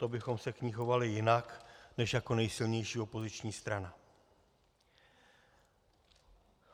To bychom se k ní chovali jinak než jako nejsilnější opoziční strana.